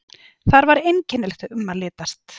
Þar var einkennilegt um að litast.